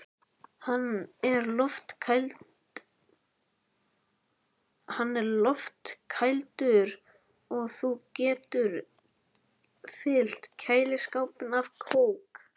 Hann er loftkældur og þú getur fyllt kæliskápinn af kók.